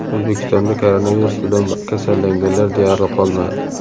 O‘zbekistonda koronavirus bilan kasallanganlar deyarli qolmadi.